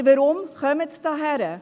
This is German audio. Aber warum kommen sie hierher?